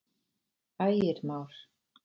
Ægir Már.